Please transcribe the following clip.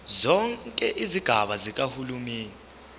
zonke izigaba zikahulumeni